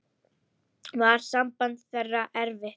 Var samband þeirra erfitt.